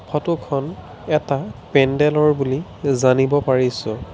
ফটোখন এটা পেণ্ডেলৰ বুলি জানিব পাৰিছোঁ।